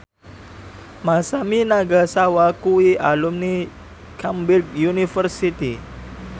Masami Nagasawa kuwi alumni Cambridge University